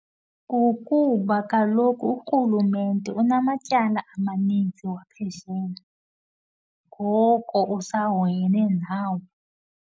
Kukuba kaloku urhulumente unamatyala amaninzi waphesheya, ngoko usahoyene nawo.